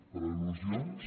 per al·lusions